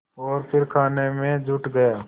और फिर खाने में जुट गया